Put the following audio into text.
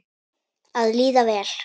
Að líða vel.